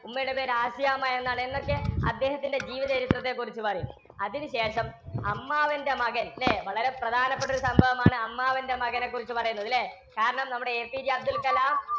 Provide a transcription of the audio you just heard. ഉമ്മയുടെ പേരു ആസ്യാമ്മയെന്നാണ്. എന്നൊക്കെ അദ്ദേഹത്തിന്‍ടെ ജീവചരിത്രത്തെ കുറിച്ചു പറയും. അതിന് ശേഷം അമ്മാവന്‍ടെ മകന്‍, ല്ലേ? വളരെ പ്രധാനപ്പെട്ടൊരു സംഭവമാണ് അമ്മാവന്‍ടെ മകനെ കുറിച്ചു പറയുന്നത് ല്ലേ? കാരണം നമ്മുടെ APJ അബ്ദുള്‍കലാം